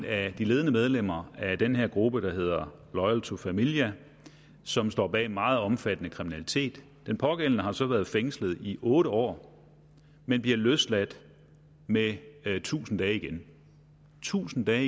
af de ledende medlemmer af den her gruppe der hedder loyal to familia som står bag meget omfattende kriminalitet den pågældende har så været fængslet i otte år men bliver løsladt med tusind dage igen tusind dage